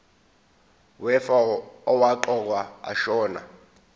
wefa owaqokwa ashona